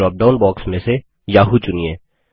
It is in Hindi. ड्रॉपडाउन बॉक्स में से याहू चुनिए